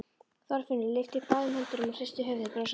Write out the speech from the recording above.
Þorfinnur lyftir upp báðum höndum og hristir höfuðið brosandi.